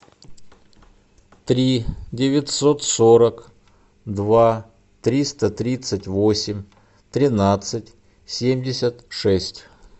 три девятьсот сорок два триста тридцать восемь тринадцать семьдесят шесть